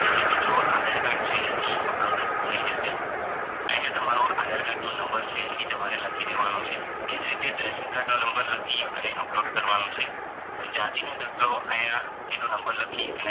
અને મિત્રો આધાર card છે ઈ થઇ જશે આયા તમારો આધાર card નો નંબર છે ઈ તમારે લખી દેવાનો છે એજ રીતે રેસન card નો નંબર લખી upload કરવાનું છે જાતિનો દાખલો આયા એનો નંબર લખી અને